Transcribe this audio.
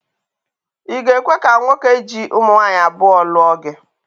I ga-ekwe ka nwoke ji ụmụnwaanyị abụọ lụọ gị?